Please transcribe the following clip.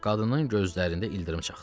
Qadının gözlərində ildırım çaxdı.